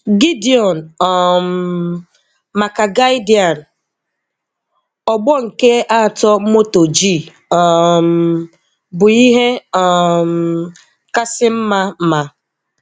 Gideon um maka Guardian Ọgbọ nke atọ Moto G um bụ ihe um kasị mma ma.